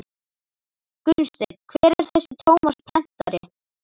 Gunnsteinn: Hver er þessi Tómas prentari?